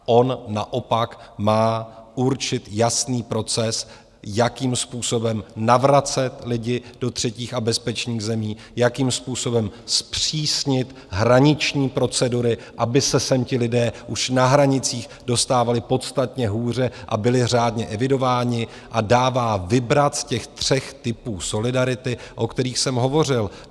On naopak má určit jasný proces, jakým způsobem navracet lidi do třetích a bezpečných zemí, jakým způsobem zpřísnit hraniční procedury, aby se sem ti lidé už na hranicích dostávali podstatně hůře a byli řádně evidováni, a dává vybrat z těch tří typů solidarity, o kterých jsem hovořil.